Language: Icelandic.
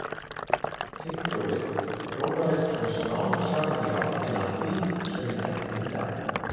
Tyggjóið þróaðist svo smám saman í áttina að því sem við þekkjum í dag.